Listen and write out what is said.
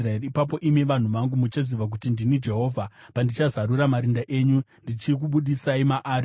Ipapo imi, vanhu vangu, muchaziva kuti ndini Jehovha, pandichazarura marinda enyu ndichikubudisai maari.